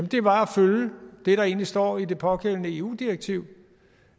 det var at følge det der egentlig står i det pågældende eu direktiv